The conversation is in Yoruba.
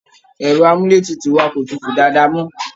Ẹ̀rọ amúleétutù wa kò tutù dáádáa mọ